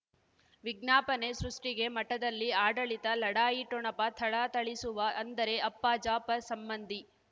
ವಿಜ್ಞಾಪನೆ ಸೃಷ್ಟಿಗೆ ಮಠದಲ್ಲಿ ಆಡಳಿತ ಲಢಾಯಿ ಠೊಣಪ ಥಳಥಳಿಸುವ ಅಂದರೆ ಅಪ್ಪ ಜಾಫರ್ ಸಂಬಂಧಿ